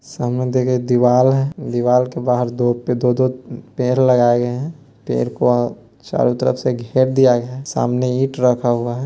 सामने देखे दीवाल है दीवाल के बहार दो पे दो-दो पेड़ लगाए गए हैं | पेड़ को चारों तरफ से घेर दिया गया है सामने ईंट रखा हुआ है।